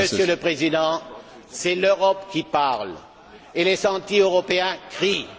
le Président, c'est l'Europe qui parle et les anti européens crient.